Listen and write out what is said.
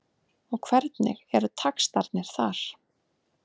Og hvernig eru taxtarnir þar?